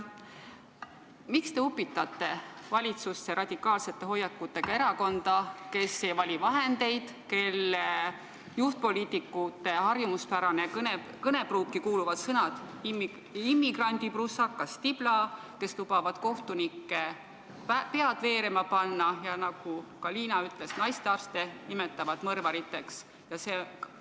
Miks te upitate valitsusse radikaalsete hoiakutega erakonda, kes ei vali vahendeid, kelle juhtpoliitikute harjumuspärasesse kõnepruuki kuuluvad sõnad "immigrandiprussakas" ja "tibla", kes lubavad kohtunike pead veerema panna ja kes, nagu ka Liina ütles, naistearste nimetavad mõrvariteks?